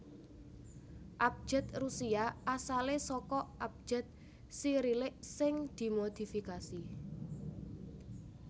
Abjad Rusia asalé saka abjad Sirilik sing dimodifikasi